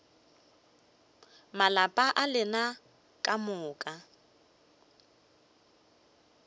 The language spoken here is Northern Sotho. malapa a lena ka moka